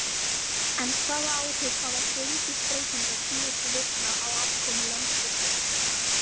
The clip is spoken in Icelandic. En hvaða áhrif hafa gengisbreytingar síðustu vikna á afkomu Landsvirkjunar?